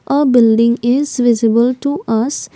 a building is visible to us. l